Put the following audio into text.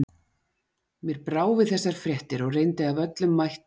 Mér brá við þessar fréttir og reyndi af öllum mætti að úti